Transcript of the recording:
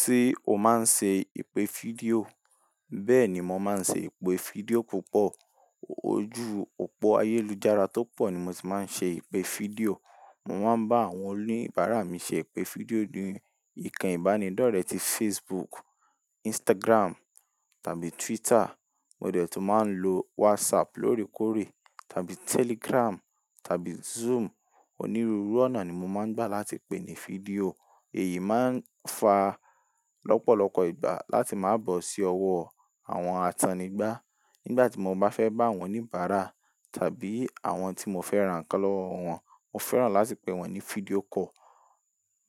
Ṣé o máa ń ṣe ìpè fídíò? Bẹ́ẹ̀ni, mo máa ń ṣe ìpè fídíò púpọ̀. Ojú òpó ayélujára tó pọ̀ ni mo ti máa ń ṣe ìpè fídíò. Mo máa ń bá àwọn oníbàárà mi ṣe ìpè fídíò ní ìkànnì ìbánidọ́rẹ̀ẹ́ tí Facebook, Instagram tàbí Twitter. Mo dẹ̀ tún máa ń lo WhatsApp lóòrèkóòrè tàbí Telegram tàbí Zoom. Onírúurú ọ̀nà ni mo máa ń gbà láti pè ní fídíò. Èyí máa ń fa lọ́pọ̀lọpọ̀ ìgbà láti máa bọ̀ sí ọwọ́ àwọn atannigba. Nígbà tí mo bá fẹ́ bá àwọn oníbàárà tàbí àwọn tí mo fẹ́ rán nkan lowọ̀ wọn, mo fẹ́ràn láti pè wọ́n ní fídíò call,